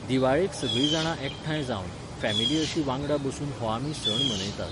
दिवाळेक सगळीं जाणां एकठांय जावन, फॅमिली अशीं वांगडा बसून हो आमी सण मनयतात